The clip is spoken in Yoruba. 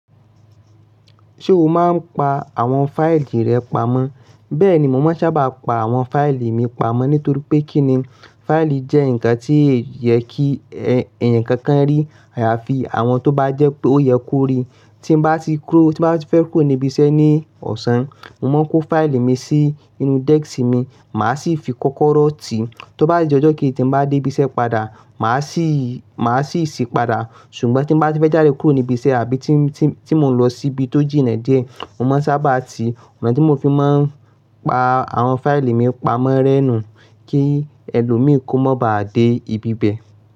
Ṣé o máa ń pa àwọn fáìlì rẹ pamọ́? Bẹ́ẹ̀ni, mo máa ń sábà pa àwọn fáìlì mi pamọ́ nítorí pé kíni, fáìlì jẹ́ ǹkan tí yẹ kí ẹ̀yàn kankan rí àyàfi àwọn tó bá jẹ́ pé ó yẹ kó rí. Tí mo bá ti kúrò, tí mo bá fẹ́ kúrò ní ibi iṣẹ́ ní ọ̀sán, mo máa ń kó fáìlì mi sí inú desk mi, màá sì fi kọ́kọ́rọ́ ti. Tó bá di ọjọ́ kíìní tí mo bá dé ibi iṣẹ́ padà, màá sì, màá sì ṣí padà. Ṣùgbọ́n tí mo bá fẹ́ jáde kúrò ní ibi iṣẹ́ àbí tí mo ń lọ síbi tó jìnnà díẹ̀, mo máa ń sábà ti, ọ̀nà tí mo fi máa ń pa àwọn fáìlì mi pamọ́ rẹ́ nu kí ẹlòmíì kó má bá dé ibi bẹ.